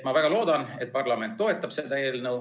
Ma väga loodan, et parlament toetab seda eelnõu.